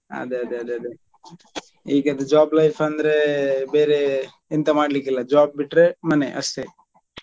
ಅದೇ ಅದೇ ಅದೇ ಈಗದ್ದು job life ಅಂದ್ರೆ ಬೇರೆ ಎಂತ ಮಾಡ್ಲಿಕ್ಕೆ ಇಲ್ಲ job ಬಿಟ್ರೆ ಮನೆ ಅಷ್ಟೇ.